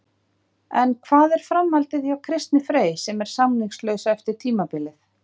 En hvað er framhaldið hjá Kristni Frey sem er samningslaus eftir tímabilið?